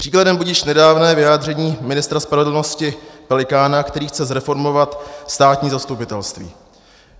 Příkladem budiž nedávné vyjádření ministra spravedlnosti Pelikána, který chce zreformovat státní zastupitelství.